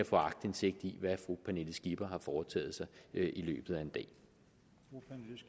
få aktindsigt i hvad fru pernille skipper har foretaget sig i løbet af